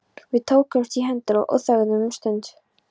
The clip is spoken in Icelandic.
Við tókumst í hendur og þögðum um stund.